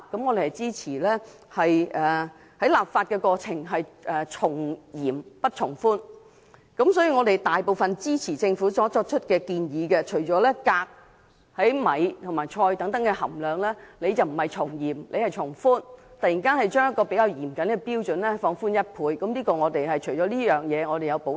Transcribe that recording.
我們支持在立法過程中從嚴不從寬，故支持政府的大部分建議，但對米和菜中的鎘含量，政府卻從寬不從嚴，突然把較嚴謹的標準放寬一倍，我們對此有所保留。